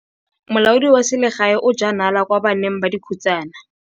Molaodi wa selegae o jaa nala kwa baneng ba dikhutsana.